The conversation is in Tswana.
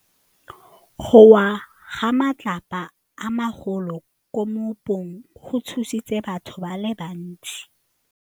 Go wa ga matlapa a magolo ko moepong go tshositse batho ba le bantsi.